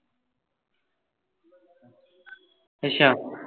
ਅੱਛਾ